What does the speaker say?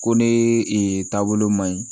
Ko ne e taabolo man ɲi